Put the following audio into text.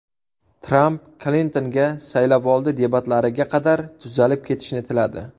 Tramp Klintonga saylovoldi debatlariga qadar tuzalib ketishni tiladi.